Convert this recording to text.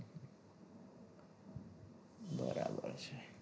બરાબર છે